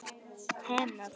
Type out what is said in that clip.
Hellir vatni í glas.